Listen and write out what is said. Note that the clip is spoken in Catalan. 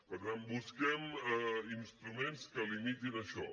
per tant busquem instruments que limitin això